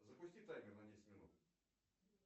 запусти таймер на десять минут